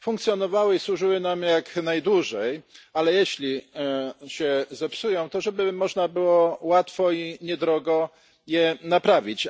działały i służyły nam jak najdłużej, ale jeśli się zepsują, to żeby można było łatwo i niedrogo je naprawić.